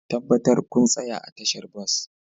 Tabbatar kun tsaya a tashar bas